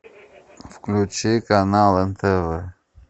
включи канал нтв